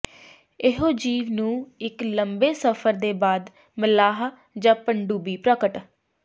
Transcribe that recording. ਇਹੋ ਜੀਵ ਨੂੰ ਇੱਕ ਲੰਬੇ ਸਫ਼ਰ ਦੇ ਬਾਅਦ ਮਲਾਹ ਜ ਪਣਡੁੱਬੀ ਪ੍ਰਗਟ